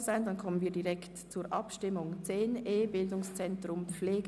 Somit kommen wir direkt zur Abstimmung zum Themenblock 10.e.